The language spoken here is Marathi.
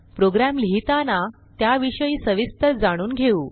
प्रोग्रॅम लिहिताना त्याविषयी सविस्तर जाणून घेऊ